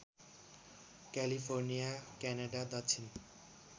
California Canada दक्षिण